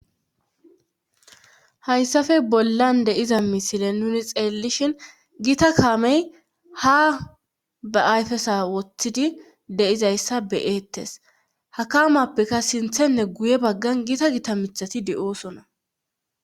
hayssafe bollan deiza misile nuni xeellishin gita kaamey ha ba ayfesa woththidi deizayssa beyeettes hakamappeka sinthenne guye baggan gita gita mithati de7oosona